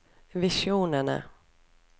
visjonene